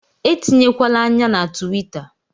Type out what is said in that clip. Etinyekwala ányá na tuwita